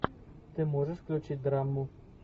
ты можешь включить драму